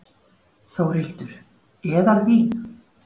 Þórhildur: Eðalvín?